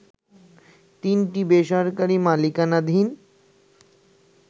তিনটি বেসরকারি মালিকানাধীন